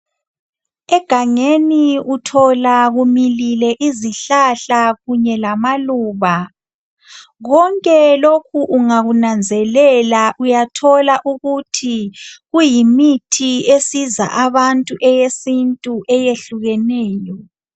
Egangeni uthola kumilile izihlahla kunye lamaluba lonke lokhu ungakunanzelela uyathola ukuthi kuyimithi esiza abantu eyesintu eyehlukeneyo.